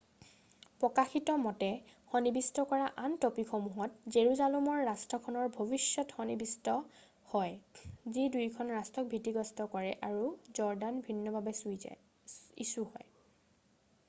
প্ৰকাশিত মতে সন্নিৱিষ্ট কৰা আন ট'পিকসমূহত জেৰুজালমৰ ৰাষ্ট্ৰখনৰ ভৱিষয্যত সনি্নিৱিষ্ট হয় যি দুয়োখন ৰাষ্ট্ৰক ভিতীগ্ৰস্ত কৰে আৰু জৰ্ডান ভিন্নভাৱে ইছু হয়৷